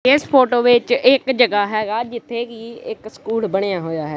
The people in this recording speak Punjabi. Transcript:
ਇਸ ਫੋਟੋ ਵਿੱਚ ਇੱਕ ਜਗ੍ਹਾ ਹੈਗਾ ਜਿੱਥੇ ਕਿ ਇੱਕ ਸਕੂਲ ਬਣਿਆ ਹੋਇਆ ਹੈ।